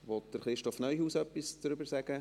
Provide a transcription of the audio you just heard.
Will Christoph Neuhaus etwas dazu sagen?